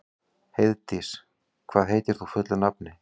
Heiðdís, hvað heitir þú fullu nafni?